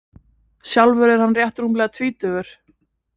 Sjálfur er hann rétt rúmlega tvítugur